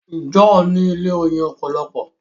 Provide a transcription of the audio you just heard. John ní ilé oyin opolopo.